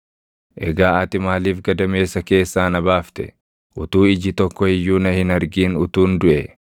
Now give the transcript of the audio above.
“Egaa ati maaliif gadameessa keessaa na baafte? Utuu iji tokko iyyuu na hin argin utuun duʼee.